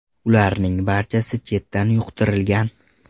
Ularning barchasi chetdan yuqtirilgan.